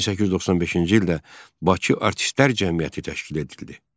1895-ci ildə Bakı Artistlər Cəmiyyəti təşkil edildi.